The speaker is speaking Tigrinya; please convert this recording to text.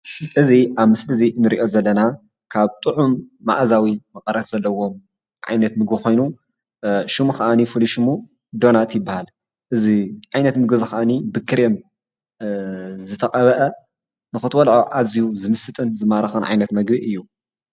እዚ ኣብ ምስሊ እዚ ንሪኦ ዘለና ካብ ጥዑም መኣዛዊ መቐረት ዘለዎ ዓይነት ምግቢ ኾይኑ ሽሙ ከዓኒ ፍሉይ ሽሙ ዶናት ይበሃል፡፡ እዚ ዓይነት ምግቢ ዓይነት እዚ ከዓኒ ብክሬም ዝተቐብአ ንኽትበልዖ ኣዝዩ ዝምስጥን ዝማርኽን ዓይነት ምግቢ እዩ፡፡